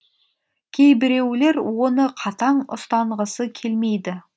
кейбіреулер оны қатаң ұстанғысы келмейді